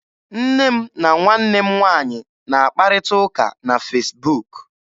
Nne m na nwanne m nwaanyị na-akparịta ụka na Fesbuk.